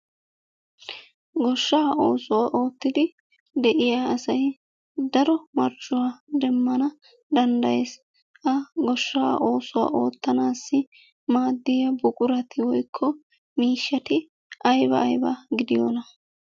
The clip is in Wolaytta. Goshshaa oosuwa oottidi de'iya asay daro marccuwa demmana danddayees. Ha goshshaa oosuwa oottanaassi maaddiya buqurati woykko miishshati ayba ayba gidiyonaa?